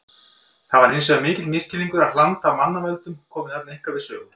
Það er hins vegar mikill misskilningur að hland af mannavöldum komi þarna eitthvað við sögu.